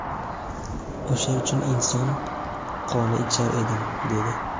o‘sha uchun inson qoni ichar edim, – dedi.